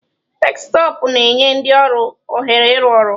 Deskịtọpụ na-enye ndị ọrụ ohere ịrụ ọrụ.